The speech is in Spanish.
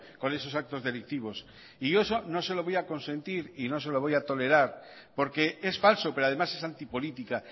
con esos actos delictivos y yo eso no se lo voy a consentir y no se lo voy a tolerar porque es falso pero además es antipolítica